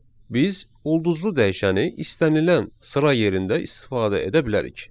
Biz ulduzlu dəyişəni istənilən sıra yerində istifadə edə bilərik.